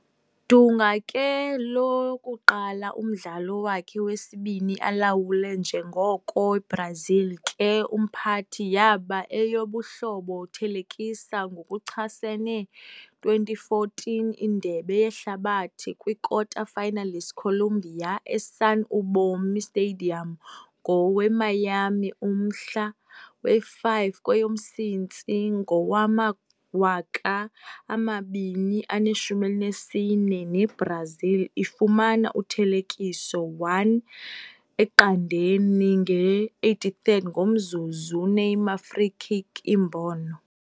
Dunga ke lokuqala umdlalo wakhe wesibini alawule njengoko Brazil ke umphathi yaba eyobuhlobo thelekisa ngokuchasene 2014 Indebe Yehlabathi kwikota-finalists Colombia e - Sun Ubomi Stadium ngowe - Miami ngomhla we-5 kweyomsintsi ngowama-2014, ne-Brazil ifumana uthelekiso 1-0 nge-83rd-ngomzuzu Neymar free-kick imbono.